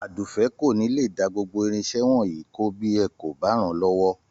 Àdùfẹ́ kò ní lè dá gbogbo irinṣẹ́ wọ̀nyìí kó bí ẹ kò bá ràn-án lọ́wọ́